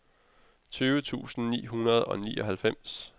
tyve tusind ni hundrede og nioghalvfems